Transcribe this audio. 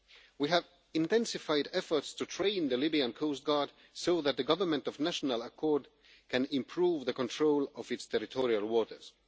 We have intensified efforts to train the Libyan coastguard so that the Government of National Accord can improve the control of its territorial waters.